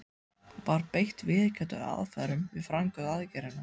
Var beitt viðurkenndum aðferðum við framkvæmd aðgerðarinnar?